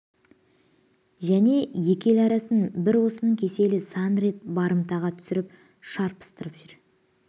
және екі ел арасын бір осының кеселі сан рет барымтаға түсіріп шарпыстырып жүр